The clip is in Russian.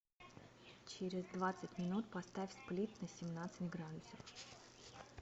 через двадцать минут поставь сплит на семнадцать градусов